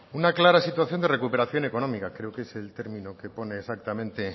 una clara situación de recuperación económica creo que es término que pone exactamente